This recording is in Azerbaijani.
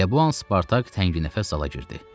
Elə bu an Spartak tənginəfəs zala girdi.